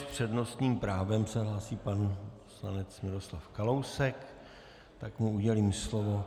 S přednostním právem se hlásí pan poslanec Miroslav Kalousek, tak mu udělím slovo.